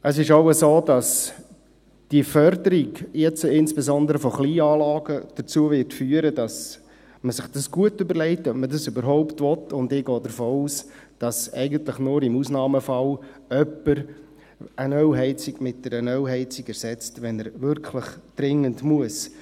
Es ist auch so, dass die Förderung, insbesondere von Kleinanlagen, dazu führen wird, dass man sich gut überlegt, ob man das überhaupt will, und ich gehe davon aus, dass eigentlich nur im Ausnahmefall jemand eine Ölheizung durch eine Ölheizung ersetzt, wenn er dies wirklich dringend tun muss.